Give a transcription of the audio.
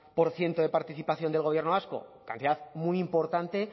por ciento de participación del gobierno vasco cantidad muy importante